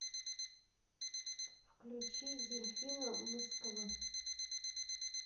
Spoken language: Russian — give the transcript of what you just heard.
включи дельфина мскв